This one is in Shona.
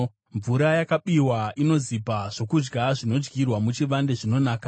Mvura yakabiwa inozipa; zvokudya zvinodyirwa muchivande zvinonaka!”